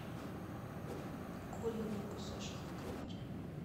куриные кусочки в кляре